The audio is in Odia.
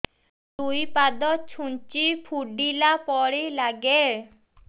ଦୁଇ ପାଦ ଛୁଞ୍ଚି ଫୁଡିଲା ପରି ଲାଗେ